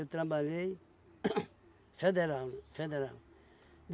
trabalhei federal federal.